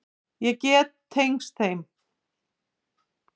Ég get tengst þeim.